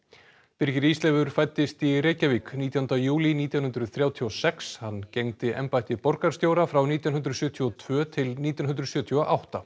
birgir Ísleifur fæddist í Reykjavík nítjánda júlí nítján hundruð þrjátíu og sex hann gegndi embætti borgarstjóra frá nítján hundruð sjötíu og tvö til nítján hundruð sjötíu og átta